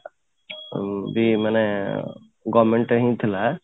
ଆଉ ବି ମାନେ government time ଥିଲା